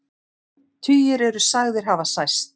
Tugir eru sagðir hafa særst